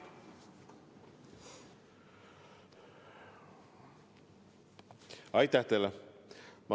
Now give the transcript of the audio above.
Aitäh teile!